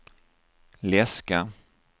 läska